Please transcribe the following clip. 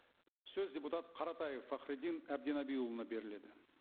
сөз депутат қаратаев фахриддин әбдінабиұлына беріледі